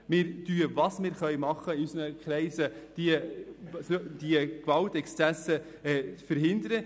Wir tun, was wir können, um in unseren Kreisen Gewaltexzesse zu verhindern.